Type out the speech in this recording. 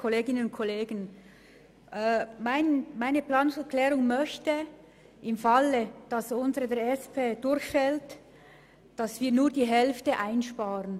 Im Falle einer Ablehnung des Antrags 2 der SP-JUSO-PSA soll nur die Hälfte eingespart werden.